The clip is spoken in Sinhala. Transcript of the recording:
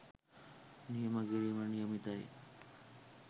නියම කිරීමට නියමිතයි.